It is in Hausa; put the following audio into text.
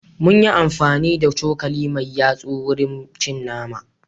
Mun yi amfani da cokali mai yatsu wurin cin nama.